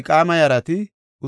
Gaba7oona yarati 95;